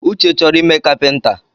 Uche chọrọ ime kapinta